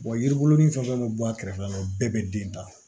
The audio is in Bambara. yiri buru ni fɛn fɛn mi bɔ a kɛrɛfɛla la o bɛɛ be den ta